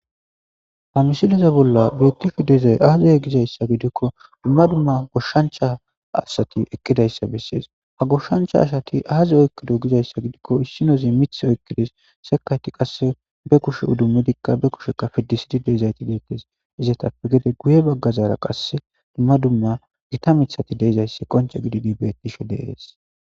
Hamisileza bolla beettifidezay aazaya gizayssa gidikko dumma dumma goshshancha asati eqqidayssa bessees. Ha goshshancha asati aaza oykkido gizayssa gidikko issinozi mith oykkides sekayti qasse be kushe uddummedikka be kusheka fiddisidi deezayti deettes. Izetappe gede guye baggazaara qasse dumma dumma gita mithati deezayssi qonc'e gididi bettishe deees.